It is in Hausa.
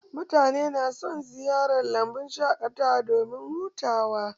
Mutane na son ziyartar lambun shaƙatawa domin hutawa